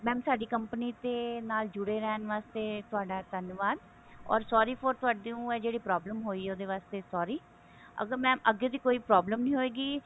mam ਸਾਡੀ company ਤੇ ਨਾਲ ਜੁੜੇ ਰਹਿਣ ਵਾਸਤੇ ਤੁਹਾਡਾ ਧੰਨਵਾਦ ਓਰ sorry ਫ਼ੋਰ ਤੁਹਾਨੂੰ ਆ ਜਿਹੜੀ ਆ problem ਹੋਈ ਉਹਦੇ ਵਾਸਤੇ sorry ਅੱਗੇ ਦੀ ਕੋਈ problem ਨੀ ਹੋਇਗੀ